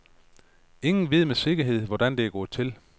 Ingen ved med sikkerhed, hvordan det er gået til.